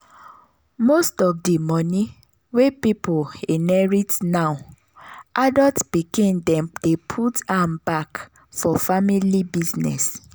most of of the money wey pipo inherit now adult pikin dem dey put am back for family business.